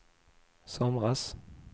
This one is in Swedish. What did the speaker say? somras